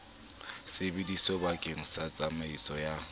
sebediswa bakeng sa tsamaiso ya